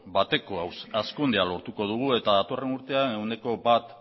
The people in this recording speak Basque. bat hazkundea lortuko dugu eta datorren urtean ehuneko bat